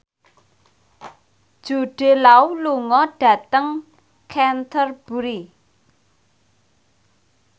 Jude Law lunga dhateng Canterbury